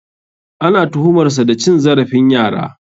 Ana tuhumar sa da cin zarafin yara.